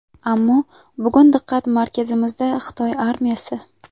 Ammo bugun diqqat markazimizda Xitoy armiyasi.